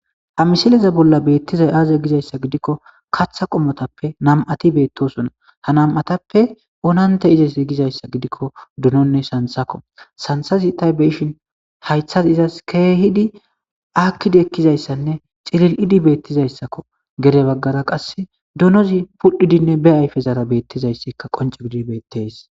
Ha misile bolla beetizay aaze gizayssa didiko katha qommotappe nam'ati beetosona ha nam'atappe oonante izeti gizayssa gidiko dononne santhako santhezi ta be'ishin haythay izas keehidi aakidi ekizayssanne cilil'idi beetizayssako gede baggara qasi donozi pudhidi be ayfezara beetizayssika qonce gidi beetes.